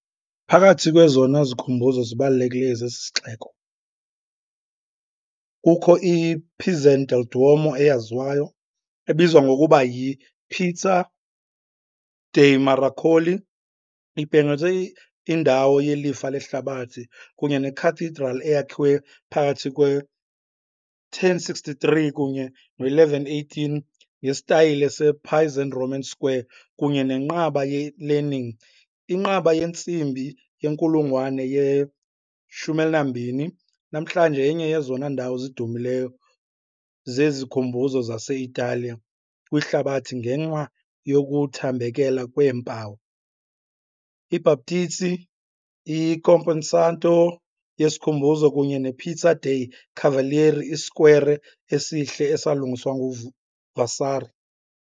Phakathi kwezona zikhumbuzo zibalulekileyo zesixeko kukho i -Pisan del Duomo eyaziwayo, ebizwa ngokuba yi-Piazza dei Miracoli, ibhengezwe indawo yelifa lehlabathi, kunye neCathedral eyakhiwe phakathi kwe -1063 kunye ne-1118 ngesitayile sePisan Romanesque kunye neNqaba ye-Leaning, inqaba yentsimbi yenkulungwane ye-12, namhlanje yenye yezona ndawo zidumileyo zezikhumbuzo zase-Italiya kwihlabathi ngenxa yokuthambekela kweempawu, iBhaptizi, i- Camposanto yesikhumbuzo kunye ne -Piazza dei Cavalieri, isikwere esihle esalungiswa nguVasari.